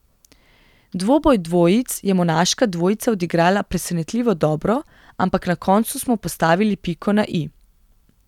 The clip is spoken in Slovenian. Dvoboj dvojic je monaška dvojica odigrala presenetljivo dobro, ampak na koncu smo postavili piko na i.